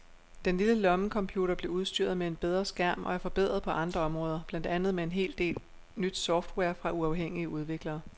Den lille lommecomputer bliver udstyret med en bedre skærm og er forbedret på andre områder, blandt andet med en del nyt software fra uafhængige udviklere.